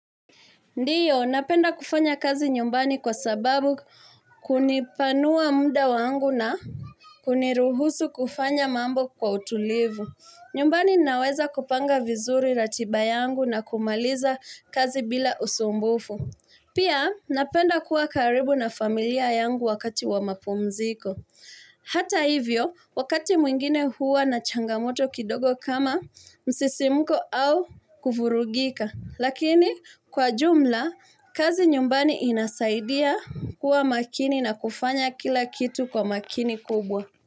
Ndiyo, napenda kufanya kazi nyumbani kwa sababu kunipanua mda wangu na kuniruhusu kufanya mambo kwa utulivu nyumbani naweza kupanga vizuri ratiba yangu na kumaliza kazi bila usumbufu Pia, napenda kuwa karibu na familia yangu wakati wa mapumziko Hata hivyo, wakati mwingine huwa na changamoto kidogo kama msisimko au kufurugika Lakini kwa jumla, kazi nyumbani inasaidia kuwa makini na kufanya kila kitu kwa makini kubwa.